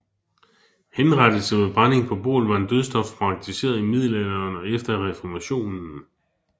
Henrettelse ved brænding på bål var en dødsstraf praktiseret i middelalderen og efter reformationen